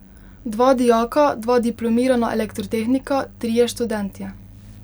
Dva dijaka, dva diplomirana elektrotehnika, trije študentje.